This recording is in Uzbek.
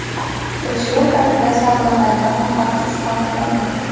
Tekshiruv paytida savdogarlar niqobsiz holda topilgan.